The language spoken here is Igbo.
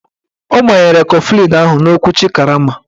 Ọ gbanyere kọflịn ahụ n'okwuchi karama